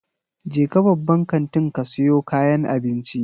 Jeka babban kantin ka siyo kayan abinci.